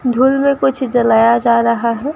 धूल में कुछ जलाया जा रहा है।